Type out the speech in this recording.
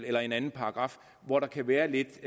eller en anden paragraf hvor der kan være lidt